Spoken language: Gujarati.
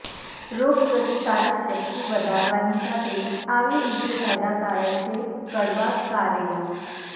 રોગ પ્રતિકારક શક્તિ વધારવાની સાથે આવી રીતે ફાયદાકારક છે કડવા કારેલા